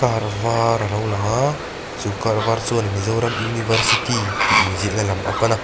kar var alo lang a chu kar var chuan mizoram university tih in ziahna lam a pan a.